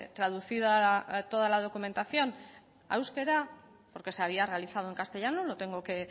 traducida toda la documentación a euskera porque se había realizado en castellano lo tengo que